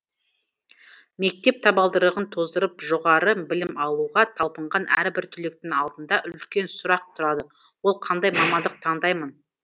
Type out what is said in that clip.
мектеп табалдырығын тоздырып жоғары білім алуға талпынған әрбір түлектің алдында үлкен сұрақ тұрады ол қандай мамандық таңдаймын